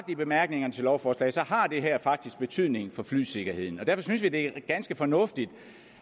i bemærkningerne til lovforslaget har det her faktisk betydning for flysikkerheden og derfor synes vi det er ganske fornuftigt